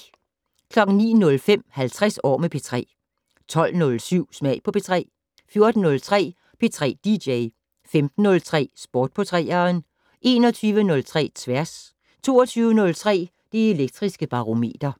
09:05: 50 år med P3 12:07: Smag på P3 14:03: P3 dj 15:03: Sport på 3'eren 21:03: Tværs 22:03: Det Elektriske Barometer